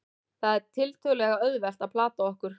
það er þó tiltölulega auðvelt að plata okkur